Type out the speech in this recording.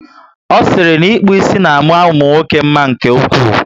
O siri na ịkpụ ísì na ama umunwoke mma nke ụkwụ